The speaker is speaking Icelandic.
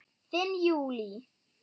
Þín Júlí.